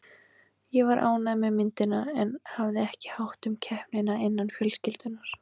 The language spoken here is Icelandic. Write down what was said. Ég var ánægð með myndina en hafði ekki hátt um keppnina innan fjölskyldunnar.